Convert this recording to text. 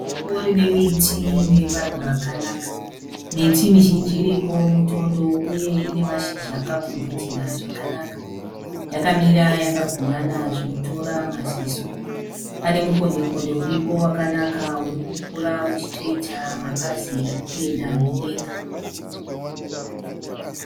Sango rine miti nemaruva akanaka.. Miti mizhinji iripo mutondo uye ine mashizha akapfumvutira zvakanaka. Yakamira yakagumana zvinotora maziso. Pane mukondi mukondi uripo wakanaka urikukura uchitoita mapazi arikuenda mudenga.